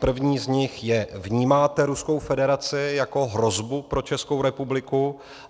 První z nich je: Vnímáte Ruskou federaci jako hrozbu pro Českou republiku?